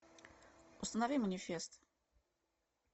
установи манифест